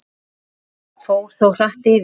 Fór þó hratt yfir.